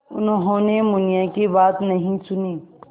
उन्होंने मुनिया की बात नहीं सुनी